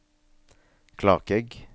Klakegg